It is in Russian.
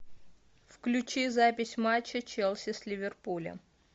включи запись матча челси с ливерпулем